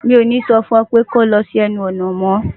Mi ò ní so fun ę pé kí o lo sí ęnu ònà mó!